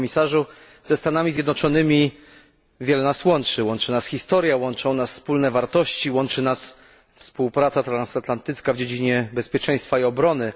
Panie Komisarzu! Ze Stanami Zjednoczonymi wiele nas łączy łączy nas historia, łączą nas wspólne wartości, łączy nas współpraca transatlantycka w dziedzinie bezpieczeństwa i obrony.